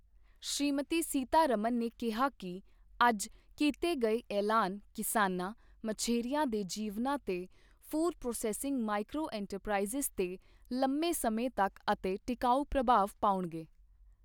ਸ਼੍ਰੀਮਤੀ ਸੀਤਾਰਮਣ ਨੇ ਕਿਹਾ ਕਿ ਅੱਜ ਕੀਤੇ ਗਏ ਐਲਾਨ ਕਿਸਾਨਾਂ, ਮਛੇਰਿਆਂ ਦੇ ਜੀਵਨਾਂ ਤੇ ਫ਼ੂਡ ਪ੍ਰੋਸੈੱਸਿੰਗ ਮਾਈਕ੍ਰੋ ਇੰਟਰਪ੍ਰਾਈਜ਼ਸ ਤੇ ਲੰਮੇ ਸਮੇਂ ਤੱਕ ਅਤੇ ਟਿਕਾਊ ਪ੍ਰਭਾਵ ਪਾਉਣਗੇ।